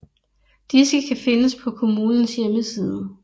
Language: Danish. Disse kan findes på kommunens hjemmeside